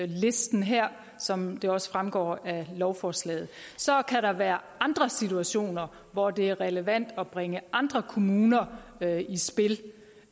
listen her som det også fremgår af lovforslaget så kan der være andre situationer hvor det er relevant at bringe andre kommuner i spil